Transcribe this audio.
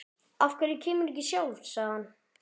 Af hverju kemurðu ekki sjálf? sagði hann.